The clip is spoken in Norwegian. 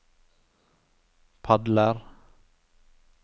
padler